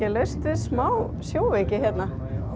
smá sjóveiki hérna